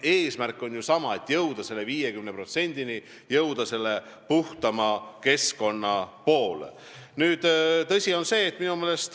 Eesmärk on ju sama: jõuda selle 50%-ni, liikuda puhtama keskkonna poole.